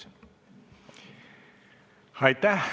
Aitäh!